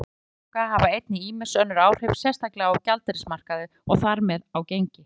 Vextir Seðlabanka hafa einnig ýmis önnur áhrif, sérstaklega á gjaldeyrismarkaði og þar með á gengi.